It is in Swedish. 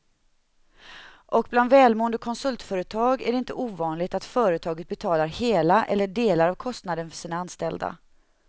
Och bland välmående konsultföretag är det inte ovanligt att företaget betalar hela eller delar av kostnaden för sina anställda.